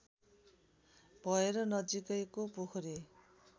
भएर नजिकैको पोखरी